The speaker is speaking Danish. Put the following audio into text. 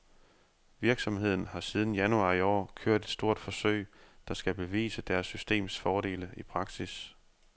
Virksomheden har siden januar i år kørt et stort forsøg, der skal bevise deres systems fordele i praksis.